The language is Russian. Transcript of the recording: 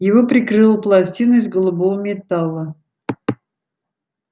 его прикрыла пластина из голубого металла